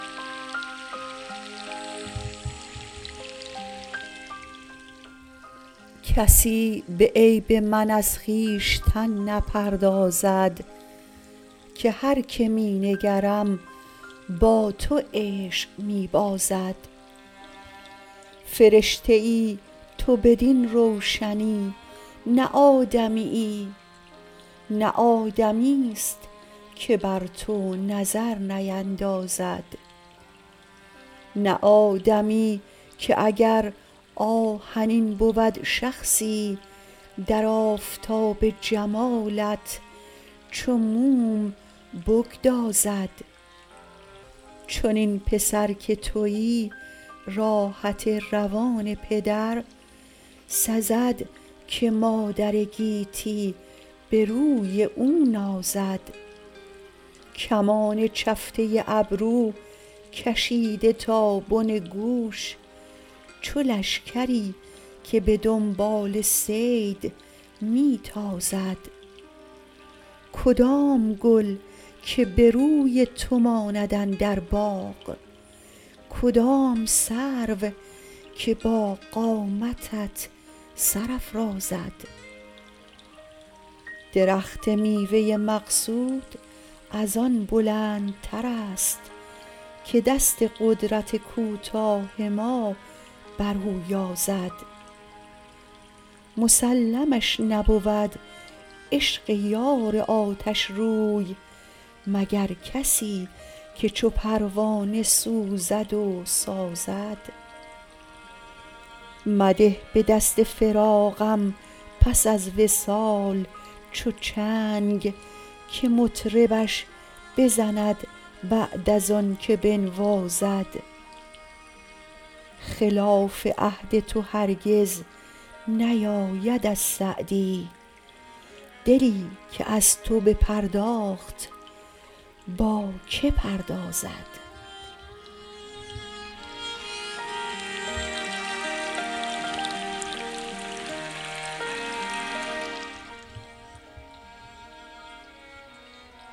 کسی به عیب من از خویشتن نپردازد که هر که می نگرم با تو عشق می بازد فرشته ای تو بدین روشنی نه آدمیی نه آدمیست که بر تو نظر نیندازد نه آدمی که اگر آهنین بود شخصی در آفتاب جمالت چو موم بگدازد چنین پسر که تویی راحت روان پدر سزد که مادر گیتی به روی او نازد کمان چفته ابرو کشیده تا بن گوش چو لشکری که به دنبال صید می تازد کدام گل که به روی تو ماند اندر باغ کدام سرو که با قامتت سر افرازد درخت میوه مقصود از آن بلندترست که دست قدرت کوتاه ما بر او یازد مسلمش نبود عشق یار آتشروی مگر کسی که چو پروانه سوزد و سازد مده به دست فراقم پس از وصال چو چنگ که مطربش بزند بعد از آن که بنوازد خلاف عهد تو هرگز نیاید از سعدی دلی که از تو بپرداخت با که پردازد